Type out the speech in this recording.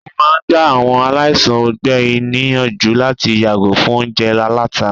wọn máà ń gbá àwọn aláìsàn ọgbẹ níyànjú láti yàgò fún oúnjẹ àlàtá